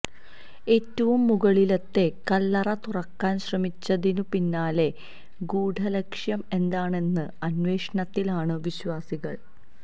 ഏറ്റവും മുകളിലത്തെ കല്ലറ തുറക്കാന് ശ്രമിച്ചതിനു പിന്നിലെ ഗൂഢലക്ഷ്യം എന്താണെന്ന അന്വേഷണത്തിലാണു വിശ്വാസികള്